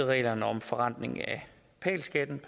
reglerne om forrentning af pal skatten